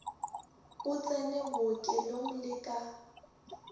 o tsene bookelong le ka